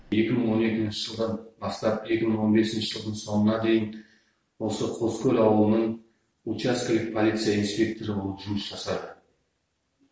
екі мың он екінші жылдан бастап екі мың он бесінші жылдың соңына дейін осы қоскөл ауылының учаскелік полиция инспекторы болып жұмыс жасады